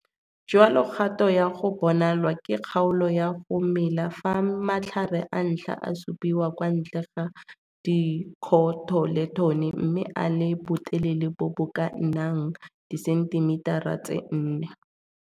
Jalo kgato ya go bonalwa ke kgaolo ya go mela fa matlhare a ntlha a supiwa kwa ntle ga dikhotoletone mme a le botelele bo bo ka nnang disentimetara tse 4.